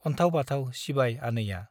अन्थाव बाथाव सिबाय आनैया ।